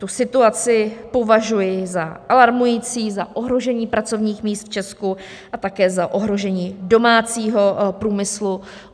Tu situaci považuji za alarmující, za ohrožení pracovních míst v Česku a také za ohrožení domácího průmyslu.